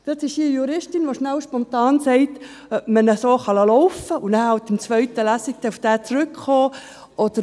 Dort ist eine Juristin, die schnell spontan sagen kann, ob man dies so laufen lassen kann, sodass man in der zweiten Lesung darauf zurückkommen kann.